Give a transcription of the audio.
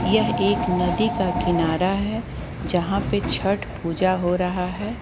यह एक नदी का किनारा है यहां पे छठ पूजा हो रहा है।